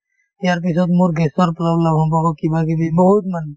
ইয়াৰ পিছত মোৰ gas ৰ problem সম্ভব হব কিবাকিবি বহুত মানে